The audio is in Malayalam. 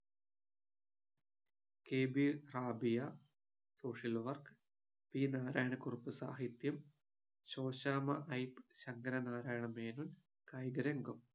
K B Rabiya social work P Narayana Kurup സാഹിത്യം ശോശാമ്മ ഐപ്പ് ശങ്കര നാരായണ മേനോൻ കായിക രംഗം